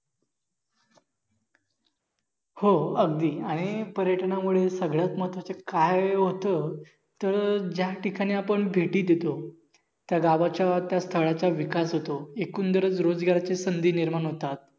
हो अगदी आणि पर्यटनामुळे सगळ्यात महत्वाचे काय होत तर जास्त ठिकाणी आपण भेटी देतो त्या गावाचा त्या स्थळाचा विकास होतो. एकुंदर रोजगार